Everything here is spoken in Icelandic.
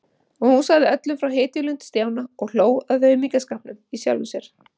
Og hún sagði öllum frá hetjulund Stjána og hló að aumingjaskapnum í sjálfri sér.